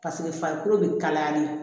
Paseke farikolo bɛ kalayali